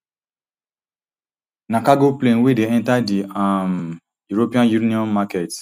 na cargo plane wey dey enta di um european union market